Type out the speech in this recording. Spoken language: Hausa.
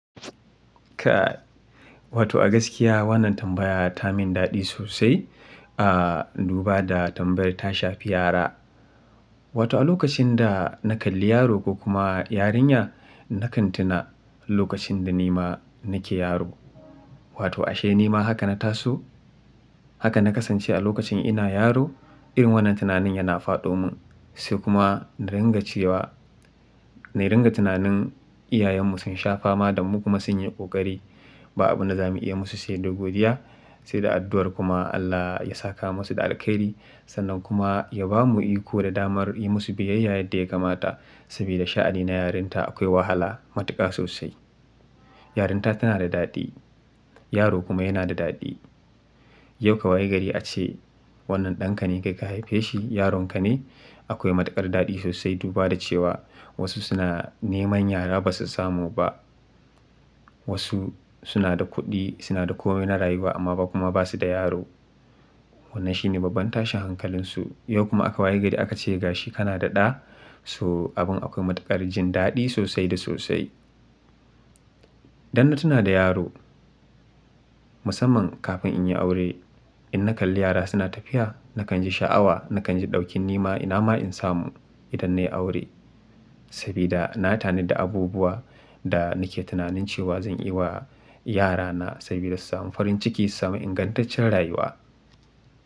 Ka, wato a gaskiya wannan tambaya ta min daɗi sosai, ah duba da tambayar tasha fi yara. Wato a lokacin da na kalli yaro ko kuma yarinya nakan tuna lokacin da nima nake yaro. Wato ashe nima haka na taso? Haka na kasance a lokacin ina yaro irin wannan tunanin yana faɗo mun. Sai kuma na ringa cewa, na ringa tunanin iyayenmu sun sha fama da mu kuma sun yi ƙoƙari. Ba abin da za mu iya musu sai da godiya sai da addu'ar kuma Allah ya saka musu da alkhairi sannan kuma ya ba mu iko da damar yi musu biyayya yadda ya kamata. Sabida sha'ani na yarinta akwai wahala, matuƙa sosai. Yarinta tana da daɗi, yaro kuma yana da daɗi. Yau ka waye gari ace wannan ɗanka ne kai ka haife shi, yaronka ne? Akwai matuƙar daɗi sosai duba da cewa wasu suna neman yara basu samu ba. Wasu suna da kuɗi, suna da komai na rayuwa amma ba kuma ba su da yaro. Wannan shine babban tashin hankalinsu. Yau kuma aka waye gari aka ce ga shi kana da ɗa. So abin akwai matuƙar jin daɗi sosai da sosai. Dan na tuna da yaro musamman kafin in yi aure. In na kalli yara suna tafiya nakan ji sha'awa, nakan ji ɗaukin nima ina ma in samu idan na yi aure. Sabida na tani da abubuwa da nake tunanin cewa zan yi wa yarana sabida su samu farin ciki, su samu ingantaccen rayuwa.